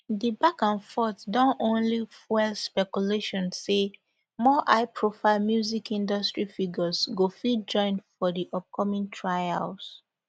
di back and forth don only fuel speculation say more highprofile music industry figures go fit join for di upcoming trials